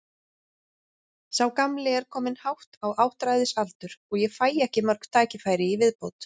Sá gamli er kominn hátt á áttræðisaldur og ég fæ ekki mörg tækifæri í viðbót.